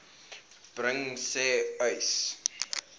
bring sê uys